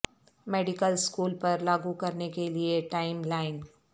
medical school پر لاگو کرنے کے لئے ٹائم لائن